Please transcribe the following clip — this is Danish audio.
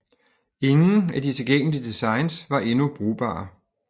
Ingen af de tilgængelige designs var endnu brugbare